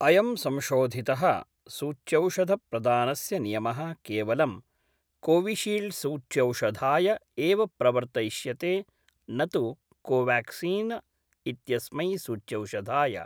अयं संशोधित: सूच्यौषधप्रदानस्य नियमः केवलं कोविशील्ड्सूच्यौषधाय एव प्रवर्तयिष्यते न तु कोवाक्सीन् इत्यस्मै सूच्यौषधाय।